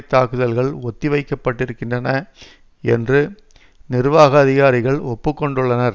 தாக்குதல்கள் ஒத்திவைக்கப்பட்டிருக்கின்றன என்று நிர்வாக அதிகாரிகள் ஒப்புக்கொண்டுள்ளனர்